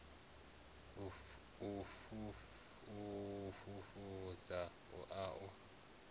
a u fhedzisa a u